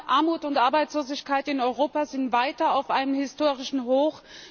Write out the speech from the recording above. Armut und Arbeitslosigkeit in Europa sind weiter auf einem historischen Hoch.